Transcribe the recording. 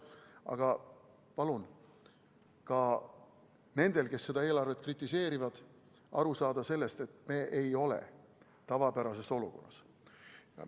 Aga palun ka nendel, kes seda eelarvet kritiseerivad, aru saada, et me ei ole tavapärases olukorras.